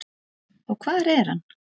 Og hvar er hann?